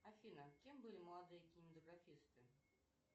афина кем были молодые кинематографисты